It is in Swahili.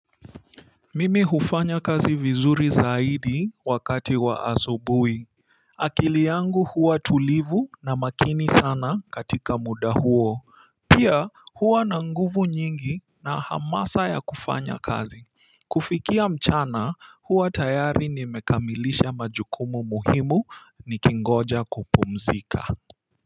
Mimi hufanya kazi vizuri zaidi wakati wa asubuhi akili yangu huwa tulivu na makini sana katika muda huo pia huwa na nguvu nyingi na hamasa ya kufanya kazi kufikia mchana huwa tayari nimekamilisha majukumu muhimu ni kingoja kupumzika.